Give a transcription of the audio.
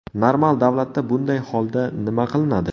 Normal davlatda bunday holda nima qilinadi?